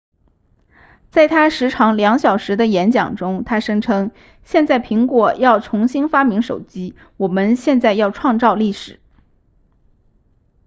在他时长2小时的演讲中他声称现在苹果要重新发明手机我们现在要创造历史